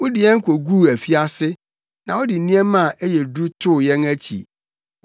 Wode yɛn koguu afiase na wode nneɛma a ɛyɛ duru too yɛn akyi.